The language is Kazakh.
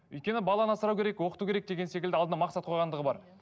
өйткені баланы асырау керек оқыту керек деген секілді алдына мақсат қойғандығы бар